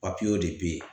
de be yen